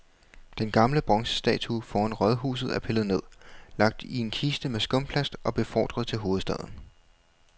Den gamle bronzestatue foran rådhuset er pillet ned, lagt i en kiste med skumplast og befordret til hovedstaden.